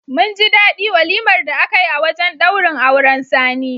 Mun ji daɗi walimar da aka yi a wajen ɗaurin auren Sani.